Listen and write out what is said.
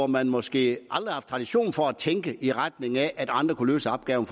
man måske aldrig har haft tradition for at tænke i retning af at andre kunne løse opgaven